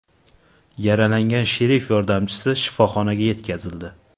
Yaralangan sherif yordamchisi shifoxonaga yetkazildi.